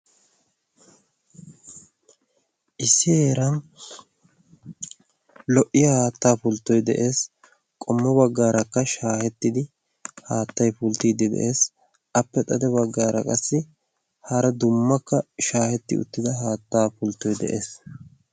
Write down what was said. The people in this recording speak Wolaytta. issi heeran lo77iya haattaa pulttoi de7ees. qommo baggaarakka shaahettidi haattai pulttiiddi de7ees. appe xade baggaara qassi hara dummakka shaahetti uttida haattaa pulttoi de7ees.